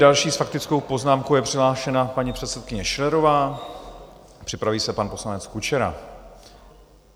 Další s faktickou poznámkou je přihlášena paní předsedkyně Schillerová, připraví se pan poslanec Kučera.